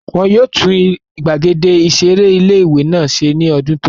Wọ́n yóò tún gbàgede ìseré ilé-ìwé náà ṣe ní ọdún tó n bọ̀